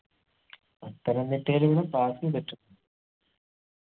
പത്തനംതിട്ടയിലൂടെ pass എയ്തിട്ട്ണ്ട്